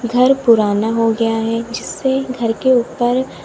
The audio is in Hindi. घर पुराना हो गया है जिससे घर के ऊपर--